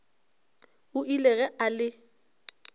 o ile ge a le